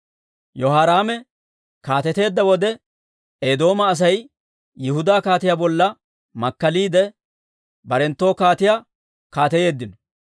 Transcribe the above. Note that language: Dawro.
Yehoraame kaateteedda wode, Eedooma Asay Yihudaa kaatiyaa bolla makkaliide, barenttoo kaatiyaa kaateyeeddino.